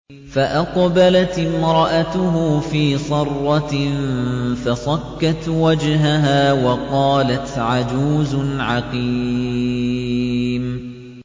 فَأَقْبَلَتِ امْرَأَتُهُ فِي صَرَّةٍ فَصَكَّتْ وَجْهَهَا وَقَالَتْ عَجُوزٌ عَقِيمٌ